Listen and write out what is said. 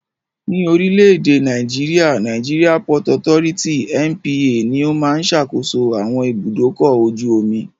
Ní orílẹ̀-èdè Nàìjéríà, Nigeria Port Authority (NPA) ní ó máa ń sàkóso àwọn ibùdókọ̀-ojú-omi.